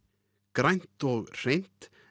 grænt og hreint